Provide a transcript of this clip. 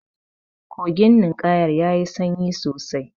Kogin linƙayar yayi sanyi sosai.